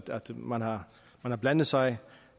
man har blandet sig